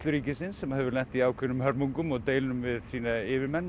ríkisins sem hefur lent í ákveðnum hörmungum og deilum við sína yfirmenn